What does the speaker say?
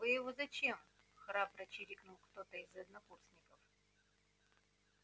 вы его зачем храбро чирикнул кто-то из однокурсников